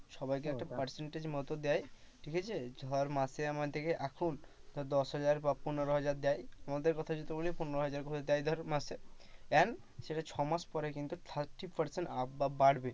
সবাইকে একটা percentage এর মত দেয় ঠিক আছে তোমার মাসে আমাদেরকে এখন, দশহাজার বা পনেরোহাজার দেয়। পনেরো হাজার যদি বলি পনেরো হাজার দেয় ধর মাসে and ছ মাস পরে কিন্তু thirty percentage up বাড়বে।